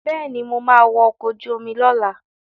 Bẹ́ẹ̀ni, mo ma wa ọkọ̀ ojú omi lọ́la